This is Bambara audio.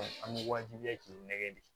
an bɛ waajibiya k'u nɛgɛ de